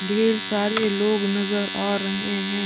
ढेर सारे लोग नज़र आ रहे है।